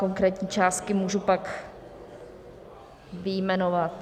Konkrétní částky můžu pak vyjmenovat.